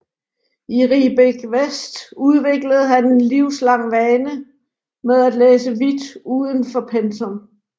I Riebeek West udviklede han en livslang vane med at læse vidt uden for pensum